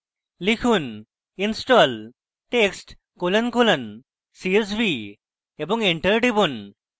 লিখুন: install text colon colon csv এবং enter টিপুন